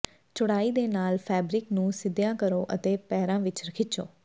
ਚੌੜਾਈ ਦੇ ਨਾਲ ਫੈਬਰਿਕ ਨੂੰ ਸਿੱਧਿਆਂ ਕਰੋ ਅਤੇ ਪੇਰਾਂ ਵਿੱਚ ਖਿੱਚੋ